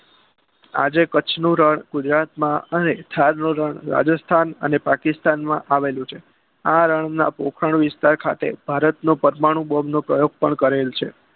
આજે કચ્છનું રણ ગુજરાતમાં અને ખારનું રણ રાજસ્થાન અને પાકિસ્તાન માં આવેલું છે આ રણના પોખણ વિસ્તાર ખાતે ભારત નું પરમાણું બોમનું પ્રયોગ પણ કરેલો છે